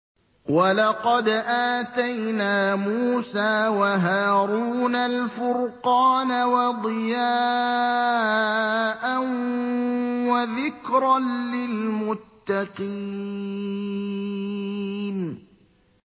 وَلَقَدْ آتَيْنَا مُوسَىٰ وَهَارُونَ الْفُرْقَانَ وَضِيَاءً وَذِكْرًا لِّلْمُتَّقِينَ